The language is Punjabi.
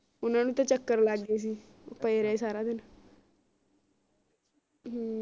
ਓਹਨਾ ਨੂੰ ਤਾ ਚਕ੍ਰ ਲਗ ਗਏ ਸੀ ਉਹ ਪਏ ਰਹੇ ਸਾਰਾ ਦਿਨ ਹਮ